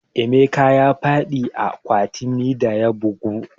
Emeka ya faɗi a kwatami da ya bugu